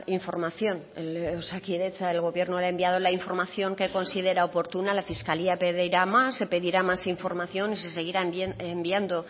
información en osakidetza el gobierno le ha enviado la información que considera oportuna la fiscalía pedirá más se pedirá más información y se seguirá enviando